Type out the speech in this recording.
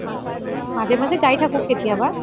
মাজে মাজে গাই থাকু কেতিয়া বা